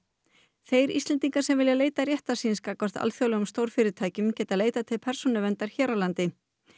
þeir Íslendingar sem vilja leita réttar síns gagnvart alþjóðlegum stórfyrirtækjum geta leitað til Persónuverndar hér á landi